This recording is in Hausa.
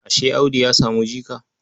Ashe Audu ya samu jika?